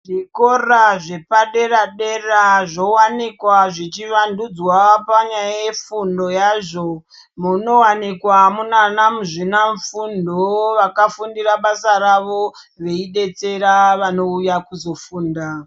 Zvikora zvepadera zvowanikwa zvichivandudzwa nyaya yefundo yazvo munowanikwa mune ana muzvina fundo vovakafundira basa rawo veidetsera vanouya kuzofunda.